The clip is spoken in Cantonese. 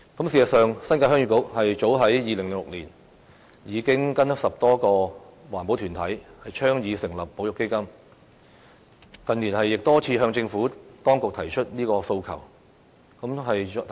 事實上，新界鄉議局早於2006年已經與10多個環保團體倡議成立保育基金，近年亦多次向政府當局提出這訴求。